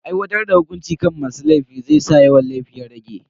Aiwatar da hukunci kan masu laifi zai sa yawan laifi ya rage.